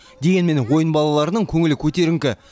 дегенмен ойын балаларының көңілі көтеріңкі